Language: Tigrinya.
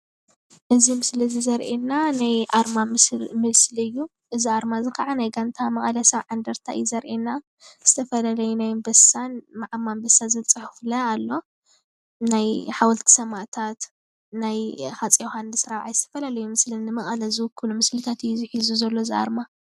እዚ ምስሊ እዚ ዘሪእየና ናይ ኣርማ ምስሊ እዩ። እዚ ኣርማ እዚ ከዓ ናይ ጋንታ መቐለ ሰብዓ እንደርታ እዩ ዘርኤና ዝተፈላለየ ናይ ኣምበሳን ምዓም ኣምበሳን ዝብል ፅሑፍ ለ ኣሎ ናይ ሓወልቲ ሰማእታት ናይ ሃፅይ ዮውሃንስ ራብዓይ ዝተፈላለዩ ምስሊ ንመቐለ ዝዉክሉ ምስልታት እዩ ሒዙ ዘሎ እዚ ኣርማ።